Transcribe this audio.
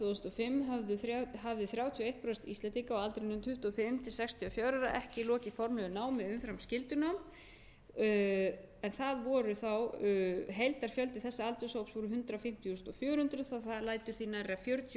þúsund og fimm hafði þrjátíu og eitt prósent íslendinga á aldrinum tuttugu og fimm til sextíu og fjögurra ára ekki lokið formlegu námi umfram skyldunám en heildarfjöldi þessa aldurshóps voru hundrað fimmtíu þúsund fjögur hundruð svo að það lætur því nærri að fjörutíu og fimm þúsund íslendingar á